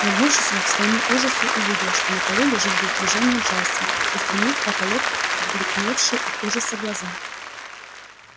нагнувшись он к своему ужасу увидел что на полу лежит без движения джастин устремив в потолок обликневшие от ужаса глаза